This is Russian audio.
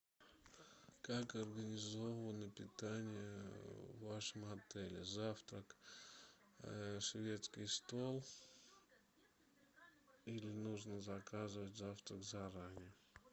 как организовано питание в вашем отеле завтрак шведский стол или нужно заказывать завтрак заранее